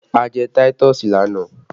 A jẹ táítọ̀sì lánàá